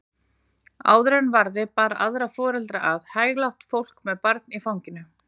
Áður en varði bar aðra foreldra að, hæglátt fólk með barn í fanginu.